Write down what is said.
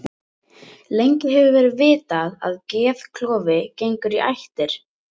Gríðarhár kostnaður vegna hamfaranna